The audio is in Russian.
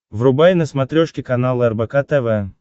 врубай на смотрешке канал рбк тв